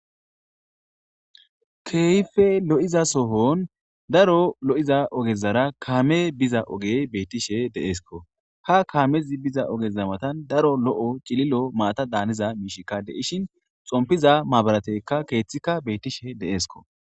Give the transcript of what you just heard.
Kehippe lo'izasohon daro lo'iza ogezara kamey biza ogey bettishe de'eskko. Ha kamezi biza ogeza matan daro lo'oc'ililo mata daniza mishiyka de'ishin xonppiza maburatteka kethiyka bettishe de'esikko.